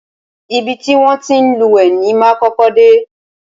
Ibi ti wọn ti ń lúwẹ̀ẹ́ ni máa kọ́kọ́ dé.